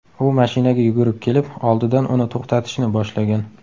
U mashinaga yugurib kelib, oldidan uni to‘xtatishni boshlagan.